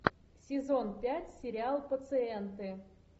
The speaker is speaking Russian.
сезон пять сериал пациенты